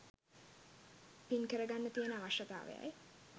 පින් කරගන්න තියෙන අවශ්‍යතාවයයි.